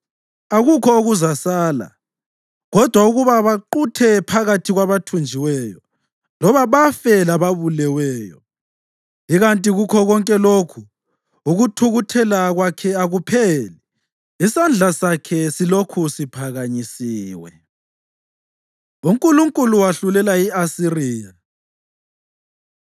Akukho okuzasala, kodwa ukuba baquthe phakathi kwabathunjiweyo loba bafe lababuleweyo. Ikanti kukho konke lokhu, ukuthukuthela kwakhe akupheli, isandla sakhe silokhu siphakanyisiwe. UNkulunkulu Wahlulela I-Asiriya